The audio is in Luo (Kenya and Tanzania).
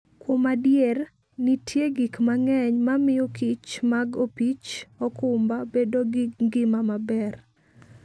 Kuom adier, nitie gik mang'eny mamiyokich mag opich okumba bedo gi ngima maber.